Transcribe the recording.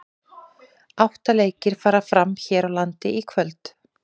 Átta leikir fara fram hér á landi í kvöld.